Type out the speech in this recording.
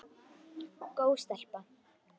Góð stelpa.